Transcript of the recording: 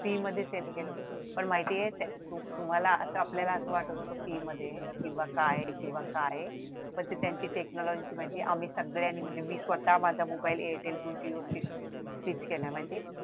free मध्ये sale केले होते पण माहिती आहे तुम्हाला आता की आपल्याला असं वाटत होतं की मध्ये काय आहे किंवा काय आहे पण त्यांची ती technology होती सगळ्यांनी म्हणजे मी स्वतः माझा मोबाईल एअरटेल मधून जिओ मध्ये shift केला माहितीये